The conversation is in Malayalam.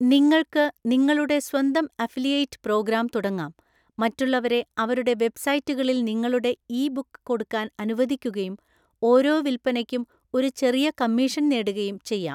നിങ്ങൾക്ക് നിങ്ങളുടെ സ്വന്തം അഫിലിയേറ്റ് പ്രോഗ്രാം തുടങ്ങാം, മറ്റുള്ളവരെ അവരുടെ വെബ്‌സൈറ്റുകാളിൽ നിങ്ങളുടെ ഇ ബുക്ക് കൊടുക്കാൻ അനുവദിക്കുകയും ഓരോ വിൽപ്പനയ്ക്കും ഒരു ചെറിയ കമ്മീഷൻ നേടുകയും ചെയ്യാം.